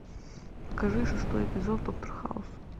покажи шестой эпизод доктор хаус